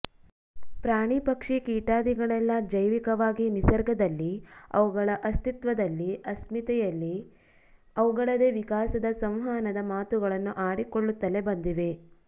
ಪ್ರಾಣಿ ಪಕ್ಷಿ ಕೀಟಾದಿಗಳೆಲ್ಲ ಜೈವಿಕವಾಗಿ ನಿಸರ್ಗದಲ್ಲಿ ಅವುಗಳ ಅಸ್ತಿತ್ವದಲ್ಲಿ ಅಸ್ಮಿತೆಯಲ್ಲಿ ಅವುಗಳದೇ ವಿಕಾಸದ ಸಂವಹನದ ಮಾತುಗಳನ್ನು ಆಡಿಕೊಳ್ಳುತ್ತಲೇ ಬಂದಿವೆ